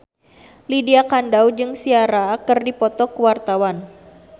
Lydia Kandou jeung Ciara keur dipoto ku wartawan